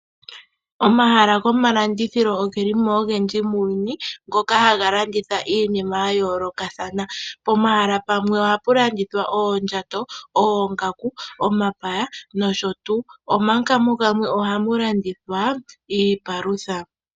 Omahala gomalandithilo ogeli mo ogendji muuyuni. Ngoka haga landitha iinima yayoolokathana, pomahala pamwe ohapu landithwa oondjato, oongaku nomapaya. Moongeshefa dhimwe ohamu landithwa iipalutha.